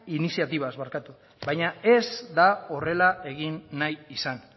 iniziatibaz baina ez da horrela egin nahi izan